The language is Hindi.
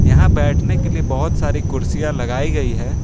यहां बैठने के लिए बहोत सारी कुर्सियां लगाई गई है।